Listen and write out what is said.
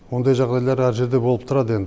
ондай жағдайлар әр жерде болып тұрады енді